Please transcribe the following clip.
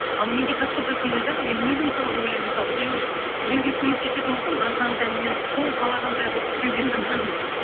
ал менде как будто сондай да мен өзім солай ойлаймын мысалы біреуге көмектесетін болсам бар жан тәніммен сол қалағандай қылып істеуге тырысамын